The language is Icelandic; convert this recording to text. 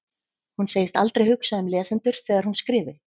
Hún segist aldrei hugsa um lesendur þegar hún skrifi.